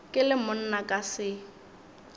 ke le monna ka se